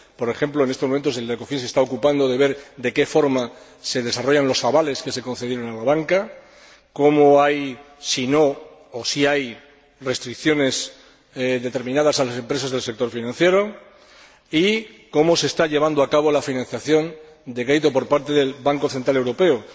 Por ejemplo, en estos momentos, el Ecofin se está ocupando de ver de qué forma se desarrollan los avales que se concedieron a la banca, de si hay o no determinadas restricciones a las empresas del sector financiero y de cómo se está llevando a cabo la financiación de crédito por parte del Banco Central Europeo.